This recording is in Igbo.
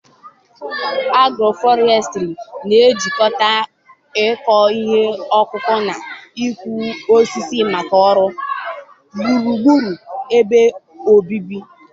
Agroforestry na-ejikọta ịkọ ihe ọkụkụ na ịkụ osisi maka uru gburugburu ebe obibi.